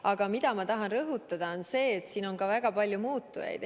Aga ma tahan rõhutada, et siin on ka väga palju muutujaid mängus.